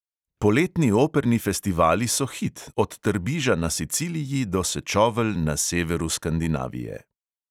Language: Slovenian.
Poletni operni festivali so hit, od trbiža na siciliji do sečovelj na severu skandinavije.